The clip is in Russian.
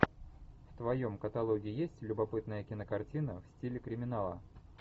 в твоем каталоге есть любопытная кинокартина в стиле криминала